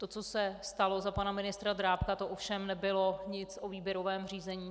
To, co se stalo za pana ministra Drábka, to ovšem nebylo nic o výběrovém řízení.